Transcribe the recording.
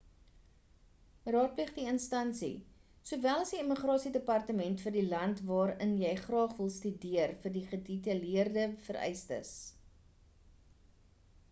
raadpleeg die instansie sowel as die immigrasie departement vir die land waarin jy graag wil studeer vir die gedetaileerde vereistes